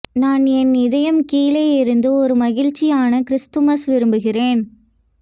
நான் என் இதயம் கீழே இருந்து ஒரு மகிழ்ச்சியான கிறிஸ்துமஸ் விரும்புகிறேன்